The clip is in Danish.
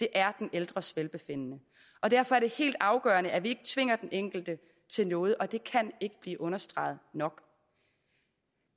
er den ældres velbefindende og derfor er det helt afgørende at vi ikke tvinger den enkelte til noget og det kan ikke blive understreget nok